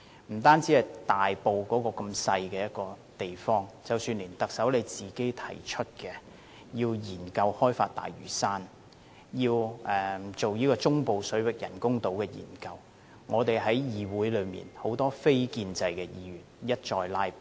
不單是針對大埔的一項小型建屋計劃，即使是特首提出要研究開發大嶼山，要進行中部水域人工島的研究，議會內很多非建制的議員都一再"拉布"。